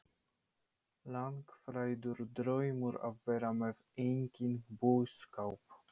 Andri: Langþráður draumur að vera með eigin búskap?